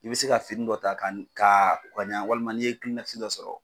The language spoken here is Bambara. I bɛ se ka fini dɔ ta ka ni ka ko ka ɲa walima n'i ye dɔ sɔrɔ.